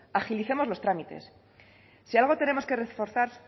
agilicemos los trámites si algo tenemos que reforzar